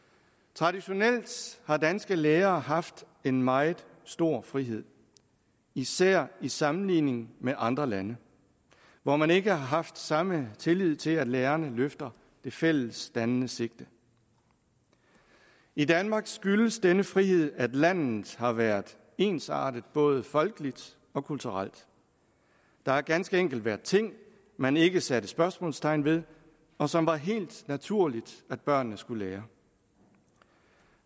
traditionelt har danske lærere haft en meget stor frihed især i sammenligning med andre lande hvor man ikke har haft samme tillid til at lærerne løfter det fælles dannende sigte i danmark skyldes denne frihed at landet har været ensartet både folkeligt og kulturelt der har ganske enkelt været ting man ikke satte spørgsmålstegn ved og som var helt naturlige at børnene skulle lære